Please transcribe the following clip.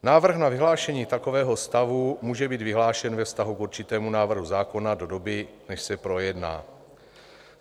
Návrh na vyhlášení takového stavu může být vyhlášen ve vztahu k určitému návrhu zákona do doby, než se projedná.